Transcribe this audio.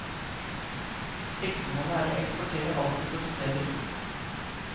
Siktemålet er å eksportere alt de produserer.